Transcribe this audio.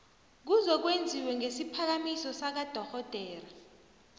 kuzokwenziwa ngesiphakamiso sakadorhodera